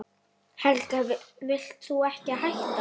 Helga: Vilt þú ekki hætta?